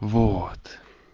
вот